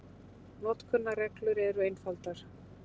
Notkunarreglur eru einfaldar.